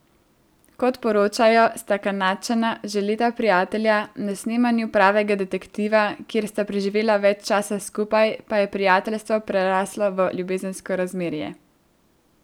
Kot poročajo, sta Kanadčana že leta prijatelja, na snemanju Pravega detektiva, kjer sta preživela več časa skupaj, pa je prijateljstvo preraslo v ljubezensko razmerje.